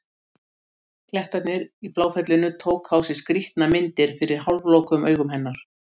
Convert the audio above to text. Klettarnir í Bláfellinu tóku á sig skrýtnar myndir fyrir hálflokuðum augum hennar.